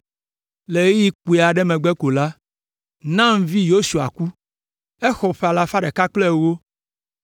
Le ɣeyiɣi kpui aɖe megbe ko la, Nun vi Yosua ku. Exɔ ƒe alafa ɖeka kple ewo.